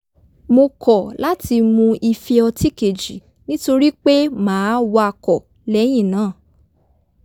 mo kọ̀ láti mu ife ọtí kejì nítorí pé màá wakọ̀ lé̩yìn náà